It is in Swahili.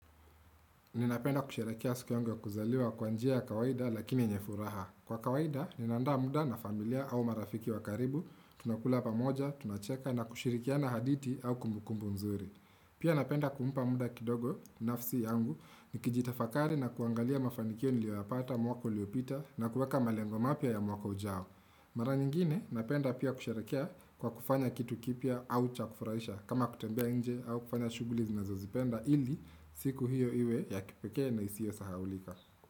Ninapenda kusherakea siku yangu ya kuzaliwa kwanjia ya kawaida lakini nyefuraha. Kwa kawaida, ninandaa muda na familia au marafiki wakaribu, tunakula pamoja, tunacheka na kushirikiana hadithi au kumbukumbu mzuri. Pia napenda kmupa muda kidogo, nafsi yangu, nikijitafakari na kuangalia mafanikio niliwapata, mwaka liopita, na kuweka malengomapya ya mwako ujao. Mara nyingine napenda pia kusharekea kwa kufanya kitu kipya au chakufurahisha kama kutembea nje au kufanya shughuli zinazo zipenda ili siku hiyo iwe ya kipeke na isiyo sahaulika.